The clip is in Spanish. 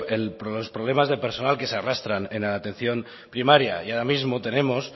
los problemas de personal que se arrastran en atención primaria y ahora mismo tenemos